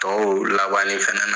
Tɔw labanni fɛnɛ na